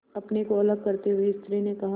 अपने को अलग करते हुए स्त्री ने कहा